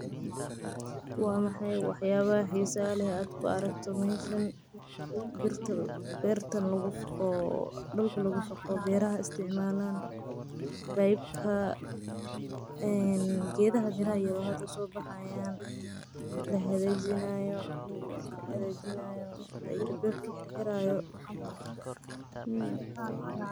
Waa maxay wax yalaha xisaha leh aad ku aragto birta oo dhulka lagu faqo oo beraha aa isticmalahan gedaha miraha iyo hada sobahayan oo hada lahagajinayo oo dhulkan lagu hagajinayo.